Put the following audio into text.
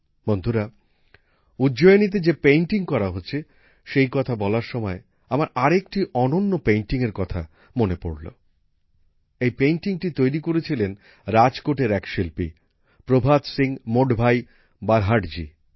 বন্ধুরা উজ্জয়িনীতে যে পেইন্টিং করা হচ্ছে সেই কথা বলার সময় আমার আরেকটি অনন্য পেইন্টিং এর কথা মনে পড়ল এই পেইন্টিংটি তৈরি করেছিলেন রাজকোটের এক শিল্পী প্রভাত সিং মোডভাই বারহাটজি